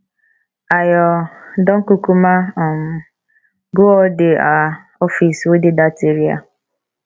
i um don kukuma um go all the um office wey dey dat area